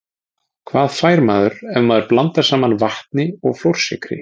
Hvað fær maður ef maður blandar saman vatni og flórsykri?